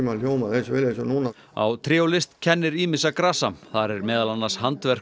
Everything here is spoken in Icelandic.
hljómað eins vel og núna á tré og list kennir ýmissa grasa þar er meðal annars handverk